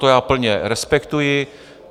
To já plně respektuji.